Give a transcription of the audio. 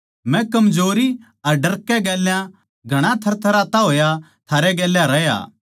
मै कमजोरी अर डरकै गेल्या घणा थरथराता होया थारै गेल्या रहया